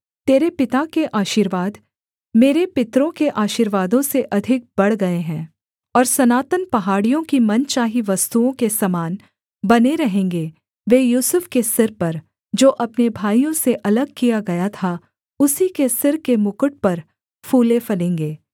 तेरे पिता के आशीर्वाद मेरे पितरों के आशीर्वादों से अधिक बढ़ गए हैं और सनातन पहाड़ियों की मनचाही वस्तुओं के समान बने रहेंगे वे यूसुफ के सिर पर जो अपने भाइयों से अलग किया गया था उसी के सिर के मुकुट पर फूले फलेंगे